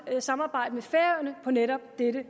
samarbejde med færøerne på netop dette